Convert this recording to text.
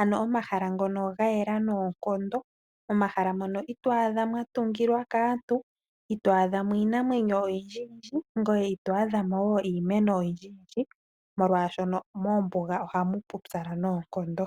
ano omahala ngono ga yela noonkondo, momahala mono ito adha mwa tungilwa kaantu, ito adha mo iinamwenyo oyindji yindji. Ngoye ito adha mo wo iimeno oyindji molwashoka moombuga ohamu pupyala noonkondo.